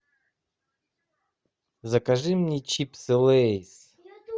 закажи мне чипсы лейс